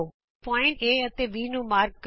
ਬਿੰਦੂ A ਅਤੇ B ਨੂੰ ਚਿੰਨ੍ਹਿਤ ਕਰੋ